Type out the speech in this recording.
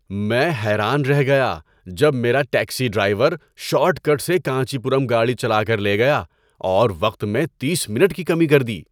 میں حیران رہ گیا جب میرا ٹیکسی ڈرائیور شارٹ کٹ سے کانچی پورم گاڑی چلا کر لے گیا اور وقت میں تیس منٹ کی کمی کر دی!